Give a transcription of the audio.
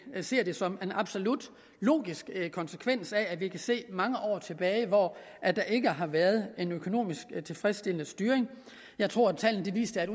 ser det som en absolut logisk konsekvens af at vi kan se mange år tilbage at der ikke har været en økonomisk tilfredsstillende styring jeg tror tallene viser at